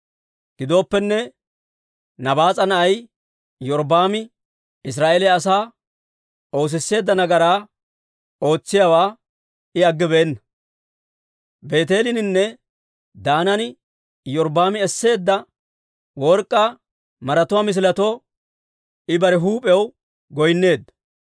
Gidooppenne Nabaas'a na'ay Iyorbbaami Israa'eeliyaa asaa oosisseedda nagaraa ootsiyaawaa I aggibeenna. Beeteeleninne Daanan Iyorbbaami esseedda work'k'aa maratuwaa misiletoo I bare huup'iyaw goynneedda.